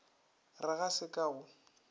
re ga se ka go